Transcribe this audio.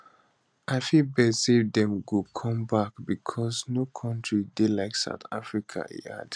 i fit bet say dem go come back because no country dey like south africa e add